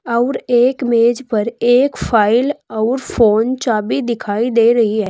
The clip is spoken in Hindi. और एक मेज पर एक फाइल और फोन चाबी दिखाई दे रही है।